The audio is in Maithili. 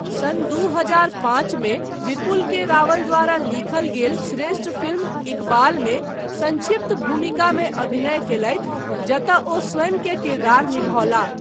सन् दू हजार पाँच मे विपुल के रावल द्वारा लिखल गेल श्रेष्ठ फिल्म इकबालमे संक्षिप्त भूमिकामे अभिनय कयलथि जतय ओ स्वयं के किरदार निभौलाह।